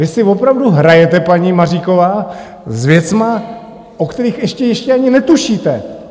Vy si opravdu hrajete, paní Maříková, s věcmi, o kterých ještě ani netušíte.